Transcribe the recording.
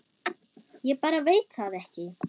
Ég bara veit það ekki.